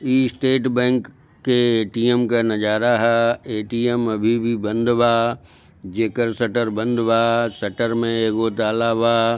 ई state bank के ATM का नजारा है ए_टी_एम अभी भी बंद बा जैकर शटर बंद बा शटर में एगो ताला बा।